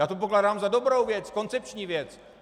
Já to pokládám za dobrou věc, koncepční věc.